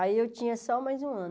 Aí eu tinha só mais um ano.